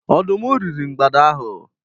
Ọdụm riri mgbada ahụ.